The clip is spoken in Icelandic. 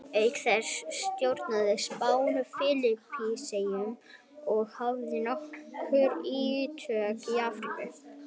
Auk þessa stjórnaði Spánn Filippseyjum og hafði nokkur ítök í Afríku.